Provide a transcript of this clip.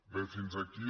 bé fins aquí